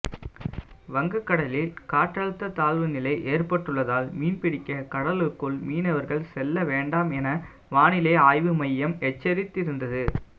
வங்கக்கடலில் காற்றழுத்த தாழ்வுநிலை ஏற்பட்டுள்ளதால் மீன்பிடிக்க கடலுக்குள் மீனவர்கள் செல்ல வேண்டாம் என வானிலை ஆய்வு மையம் எச்சரித்திருந்தது